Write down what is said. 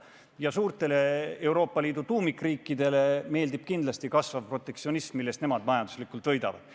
Ja Euroopa Liidu suurtele tuumikriikidele meeldib kindlasti kasvav protektsionism, millest nemad majanduslikult võidavad.